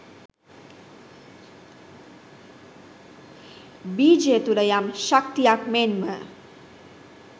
බීජය තුළ යම් ශක්තියක් මෙන්ම